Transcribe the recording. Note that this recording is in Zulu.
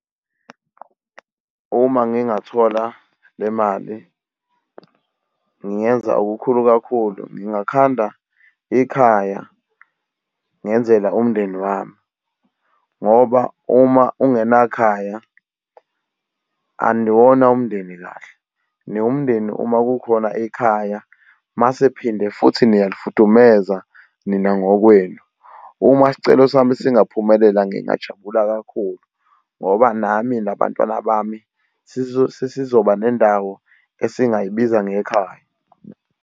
Uma ngingathola le mali ngingenza okukhulu kakhulu, ngingakhanda ikhaya ngenzela umndeni wami, ngoba uma ungena khaya, aniwona umndeni kahle, niwumndeni uma kukhona ikhaya, umase phinde futhi niyalifudumeza nina ngokwenuma. Uma isicelo sami singaphumelela ngingajabula kakhulu ngoba nami nabantwana bami sizoba nendawo esingayibiza ngekhaya.